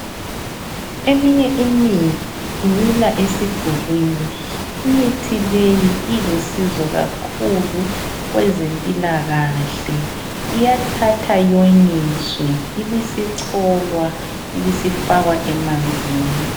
Eminye imithi imila esidulwini imithi leyi ilusizo kakhulu kwezempilakahle iyathathwa yonyiswe ibisicholwa ibisifakwa emanzini.